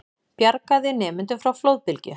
Bjargaði nemendum frá flóðbylgju